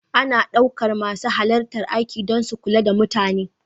Ana ɗaukar masu halarta aiki don su kula da mutane.